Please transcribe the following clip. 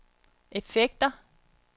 effekter